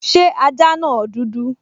Ṣé ajá náà dúdú?